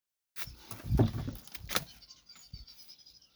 Nooca ugu badan ee cudurka Tay Sachs wuxuu ku bilaabmaa dhallaanka.